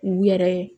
U yɛrɛ